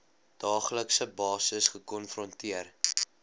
daaglikse basis gekonfronteer